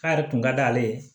K'a yɛrɛ kun ka d'ale ye